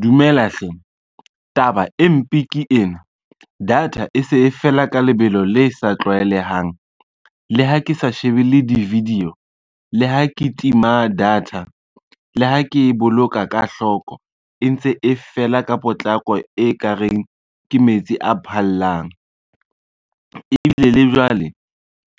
Dumela hle, taba e mpe ke ena data e se e fela ka lebelo le sa tlwaelehang, le ha ke sa shebelle di-video, le ha ke tima data, le ha ke e boloka ka hloko e ntse e fela ka potlako e kareng ke metsi a phallang. Ebile le jwale